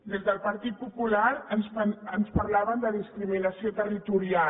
des del partit popular ens parlaven de discriminació territorial